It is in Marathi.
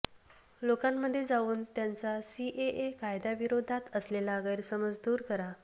लोकांमध्ये जाऊन त्यांचा सीएए कायद्या विरोधात असलेला गैरसमज दूर करा